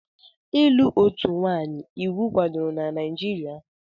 Ịlụ otu nwanyị iwu kwadoro na Naijiria?